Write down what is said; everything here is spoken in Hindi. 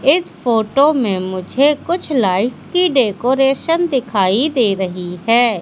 इस फोटो में मुझे कुछ लाइट की डेकोरेशन दिखाई दे रही है।